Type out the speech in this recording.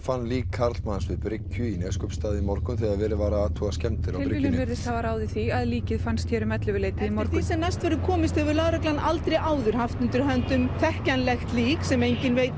fann lík karlmanns við bryggju í Neskaupsstað í morgun þegar verið var að athuga skemmdir á bryggjunni tilviljun virðist hafa ráðið því að líkið fannst hér um ellefu leytið í morgun sem næst verður komist hefur lögreglan aldrei áður haft undir höndum þekkjanlegt lík sem enginn veit